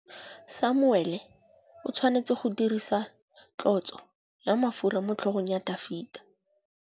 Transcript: Samuele o tshwanetse go dirisa tlotsô ya mafura motlhôgong ya Dafita.